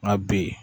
Nka b